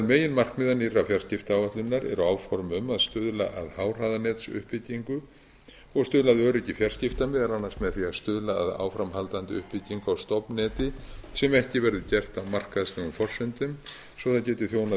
meginmarkmiða nýrrar fjarskiptaáætlunar eru áform um að stuðla að háhraðanetsuppbyggingu og stuðla að öryggi fjarskipta meðal annars með því að stuðla að áframhaldandi uppbyggingu á stofnneti sem ekki verður gert á markaðslegum forsendum svo að það geti þjónað